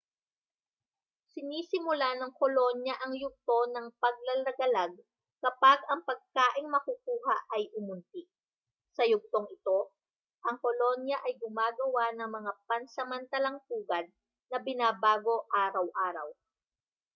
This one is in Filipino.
sinisimulan ng kolonya ang yugto ng paglalagalag kapag ang pagkaing makukuha ay umunti sa yugtong ito ang kolonya ay gumagawa ng mga pansamantalang pugad na binabago araw-araw